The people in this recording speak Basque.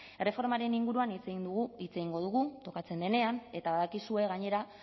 erreformaren inguruan hitz egingo dugu tokatzen denean eta badakizue gainera